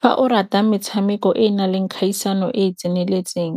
Fa o rata metshameko e na leng kgaisano e tseneletseng